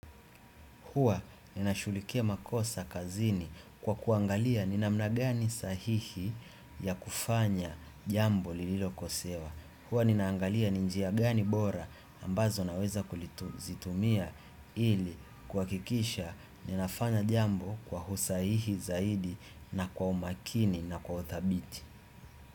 Huwa ninashughulikia makosa kazini kwa kuangalia ni namna gani sahihi ya kufanya jambo lililokosewa. Huwa ninaangalia ni njia gani bora ambazo naweza kuzitumia ili kuhakikisha ninafanya jambo kwa usahihi zaidi na kwa umakini na kwa uthabiti.